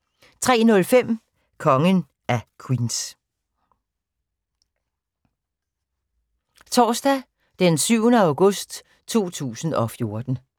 Torsdag d. 7. august 2014